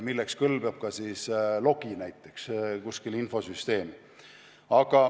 Selleks kõlbab ka logi kuskil infosüsteemis.